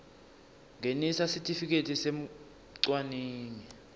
ngenisa sitifiketi semcwaningi